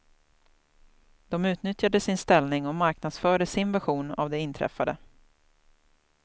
De utnyttjade sin ställning och marknadsförde sin version av det inträffade.